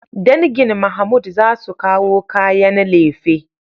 Dangin Mahmood za su kawo kayan lefe.